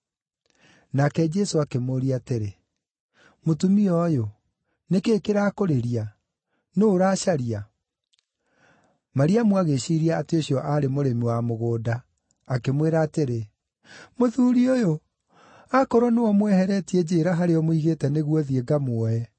Nake Jesũ akĩmũũria atĩrĩ, “Mũtumia ũyũ, nĩ kĩĩ kĩrakũrĩria? Nũũ ũracaria?” Mariamu agĩĩciiria atĩ ũcio aarĩ mũrĩmi wa mũgũnda, akĩmwĩra atĩrĩ, “Mũthuuri ũyũ, akorwo nĩwe ũmweheretie njĩĩra harĩa ũmũigĩte nĩguo thiĩ ngamuoe.”